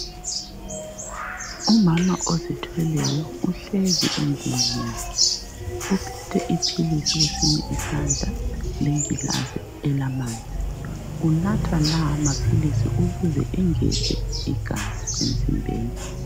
Umama ozithweleyo uhlezi endlini yakhe uphethe iphilisi kwesinye isandla legilazi elamanzi. Unatha lawa maphilisi ukuze engeze igazi emzimbeni.